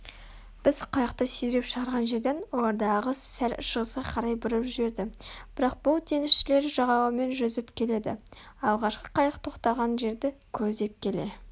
біз қайықты сүйреп шығарған жерден оларды ағыс сәл шығысқа қарай бұрып жіберді бірақ бұл теңізшілер жағалаумен жүзіп келеді алғашқы қайық тоқтаған жерді көздеп келе